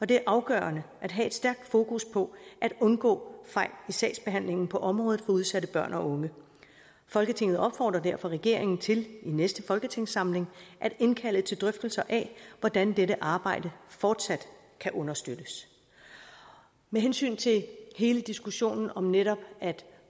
det er afgørende at have et stærkt fokus på at undgå fejl i sagsbehandlingen på området for udsatte børn og unge folketinget opfordrer derfor regeringen til i næste folketingssamling at indkalde til drøftelser af hvordan dette arbejde fortsat kan understøttes med hensyn til hele diskussionen om netop at